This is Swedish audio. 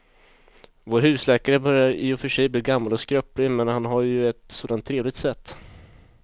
Vår husläkare börjar i och för sig bli gammal och skröplig, men han har ju ett sådant trevligt sätt!